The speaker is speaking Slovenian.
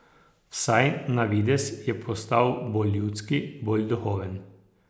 Vsaj na videz je postal bolj ljudski, bolj duhoven ...